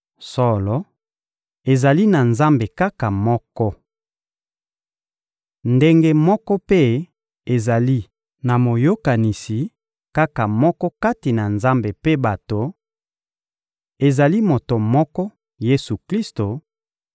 Solo, ezali na Nzambe kaka moko. Ndenge moko mpe ezali na Moyokanisi kaka moko kati na Nzambe mpe bato: ezali moto moko, Yesu-Klisto